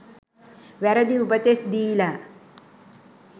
වැරදි උපදෙස් දීල.